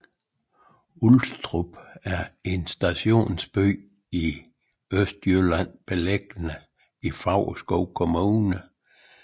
Ulstrup er en stationsby i Østjylland beliggende i Favrskov Kommune